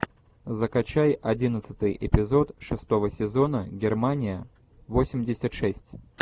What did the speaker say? закачай одиннадцатый эпизод шестого сезона германия восемьдесят шесть